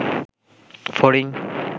ফড়িং